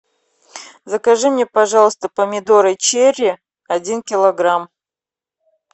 закажи мне пожалуйста помидоры черри один килограмм